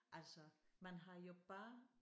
Altså man har jo bare